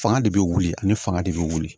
Fanga de bɛ wuli ani fanga de bɛ wuli